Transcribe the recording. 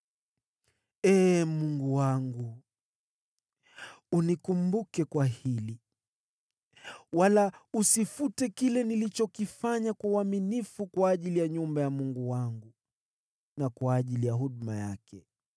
Ee Mungu wangu, unikumbuke kwa hili, wala usifute kile nilichokifanya kwa uaminifu kwa ajili ya nyumba ya Mungu wangu na kwa ajili ya huduma yake.